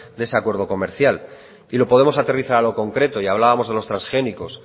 de ese acuerdo comercial y lo podemos aterrizar a lo concreto y hablábamos de los transgénicos